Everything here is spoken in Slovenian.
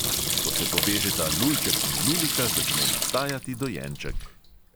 Ko se povežeta lulček in lulika, začne nastajati dojenček.